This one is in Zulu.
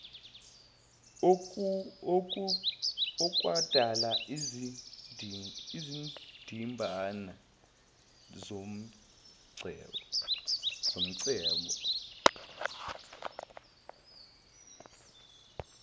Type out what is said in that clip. okwadala izindimbane zomcebo